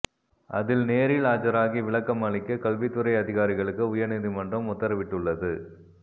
அதில் நேரில் ஆஜராகி விளக்கம் அளிக்க கல்வித்துறை அதிகாரிகளுக்கு உயர்நீதிமன்றம் உத்தரவிட்டுள்ளது